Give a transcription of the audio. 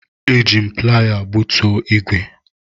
Eji m piala gbutu ígwè.